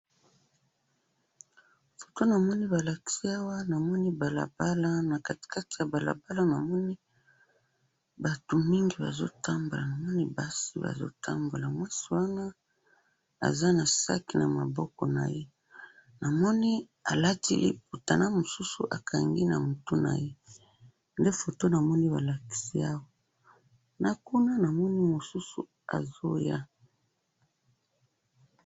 Foto namoni balakisi awa, namoni balabala, na katikati ya balabala namoni batu mingi bazotambola, namoni basi bazotambola, mwasi wana aza na sac na maboko naye, namoni alati liputa na mususu akangi na mutu naye, nde foto namoni balakisi awa, nakuna namoni mususu azoya.